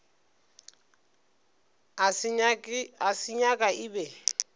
a se nyaka e be